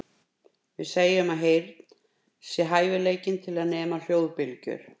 Við segjum að heyrn sé hæfileikinn til að nema hljóðbylgjur.